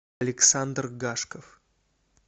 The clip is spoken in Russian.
александр гашков